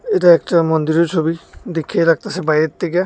এটা একটা মন্দিরের ছবি দৈখ্যাই লাগতাসে বাইরের থৈক্যা।